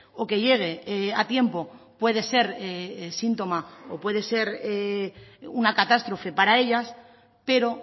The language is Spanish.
o que llegue a tiempo puede ser síntoma o puede ser una catástrofe para ellas pero